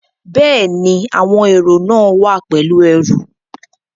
Bẹ́ẹ̀ni, àwọn èrò náà wá pẹ̀lú ẹrù